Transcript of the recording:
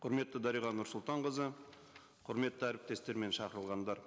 құрметті дариға нұрсұлтанқызы құрметті әріптестер мен шақырылғандар